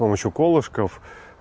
помощью колышков